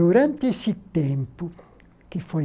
Durante esse tempo, que foi